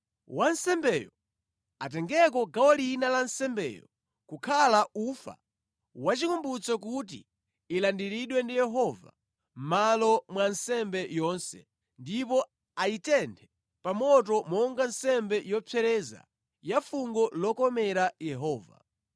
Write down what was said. Wansembeyo atengeko gawo lina la nsembeyo kukhala ufa wachikumbutso kuti ilandiridwe ndi Yehova mʼmalo mwa nsembe yonse ndipo ayitenthe pa moto monga nsembe yopsereza ya fungo lokomera Yehova.